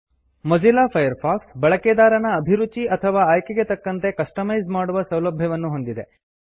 Mozilla Firefox ಬಳಕೆದಾರನ ಅಭಿರುಚಿ ಅಥವಾ ಆಯ್ಕೆಗೆ ತಕ್ಕಂತೆ ಕಸ್ಟಮೈಸ್ ಮಾಡುವ ಸೌಲಭ್ಯವನ್ನು ಹೊಂದಿದೆ